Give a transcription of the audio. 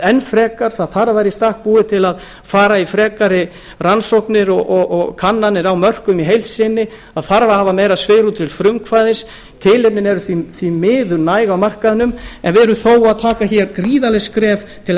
enn frekar það þarf að vera í stakk búið til að fara í frekari rannsóknir og kannanir á mörkuðum í heild sinni það þarf að hafa meira svigrúm til frumkvæðis tilefnin eru því miður næg á markaðnum en við erum þó að taka hér gríðarleg skref til að